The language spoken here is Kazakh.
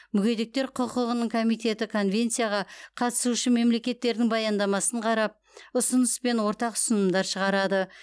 мүгедектер құқығының комитеті конвенцияға қатысушы мемлекеттердің баяндамасын қарап ұсыныс пен ортақ ұсынымдар шығарады